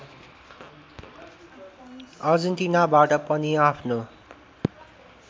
अर्जेन्टिनाबाट पनि आफ्नो